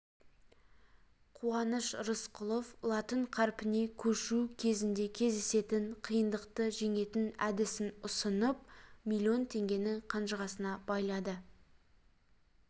қуаныш рысқұлов латын қаріпіне көшу кезінде кездесетін қиындықты жеңетін әдісін ұсынып миллион теңгені қанжығасына байлады